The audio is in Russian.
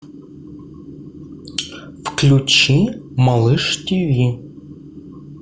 включи малыш тв